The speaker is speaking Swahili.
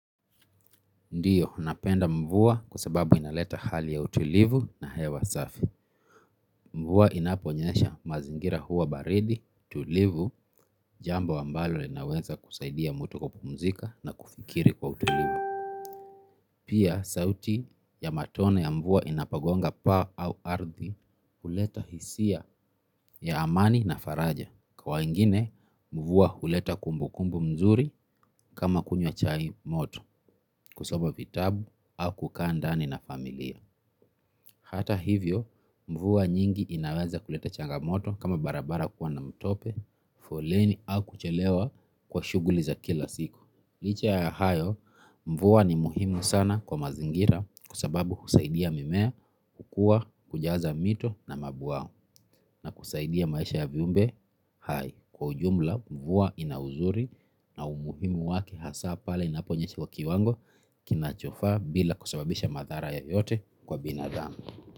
Ndiyo, napenda mvua kwa sababu inaleta hali ya utulivu na haya asafi. Mvua inaponyesha mazingira huwa baridi, tulivu, jambo ambalo linaweza kusaidia mtu kwa kupumzika na kufikiri kwa utulivu. Pia, sauti ya matone ya mvua yanapagonga paa au ardhi huleta hisia ya amani na faraja. Kwa ingine, mvua huleta kumbukumbu mzuri kama kunywa chai moto, kusoma vitabu au kukaa ndani na familia. Hata hivyo, mvua nyingi inaweza kuleta changamoto kama barabara kuwa na mtope, foleni au kuchelewa kwa shughuli za kila siku. Licha ya hayo, mvua ni muhimu sana kwa mazingira kwa sababu insaidia mimea kukua, kujaza mito na mabwawa na kusaidia maisha ya viumbe hai. Kwa ujumla, mvua ina uzuri na umuhimu wake hasa pale inaponyesha kwa kiwango kinachofaa bila kusababisha madhara yoyote kwa binadamu.